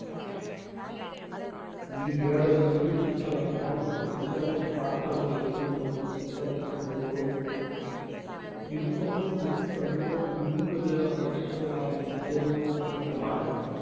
ഈ ഏഴിൽ ഈജിപ്തിലെ വൻ pyramid മാത്രമേ ഇന്നു നിലനിൽക്കുന്നുള്ളു. ഇതുതന്നെയും കഴിഞ്ഞ അഞ്ഞൂറിലേറെ വർഷങ്ങളായി ജീർണോന്മുഖമാണ്.